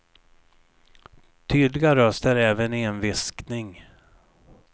Tydliga röster även i en viskning.